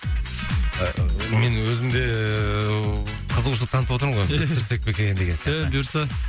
ы мен өзім де ыыы қызығушылық танытып отырмын ғой біз түсірсек пе екен деген сияқты е бұйырса